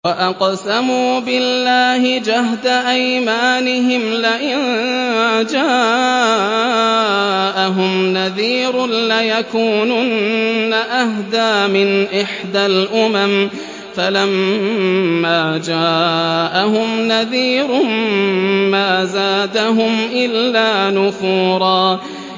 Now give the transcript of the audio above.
وَأَقْسَمُوا بِاللَّهِ جَهْدَ أَيْمَانِهِمْ لَئِن جَاءَهُمْ نَذِيرٌ لَّيَكُونُنَّ أَهْدَىٰ مِنْ إِحْدَى الْأُمَمِ ۖ فَلَمَّا جَاءَهُمْ نَذِيرٌ مَّا زَادَهُمْ إِلَّا نُفُورًا